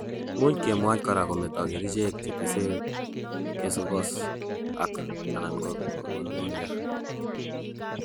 Much kemwoch kora kometo kerichek chetese kesokos ak/anan koner.